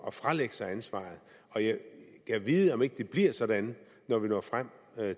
at fralægge sig ansvaret på jeg gad vide om ikke det bliver sådan når vi når frem